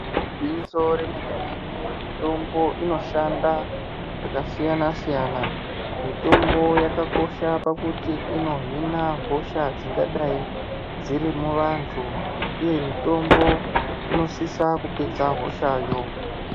Igwinyiso remenemene, mitombo inoshanda zvakasiyana siyana ,mitombo yakakosha pakuti inohina hosha dzingadai dziri muvantu uye mitombo inosisa kupedza hoshayo.